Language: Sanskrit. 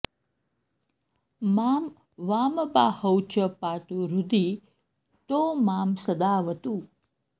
मां वामबाहौ च पातु हृदि तो मां सदावतु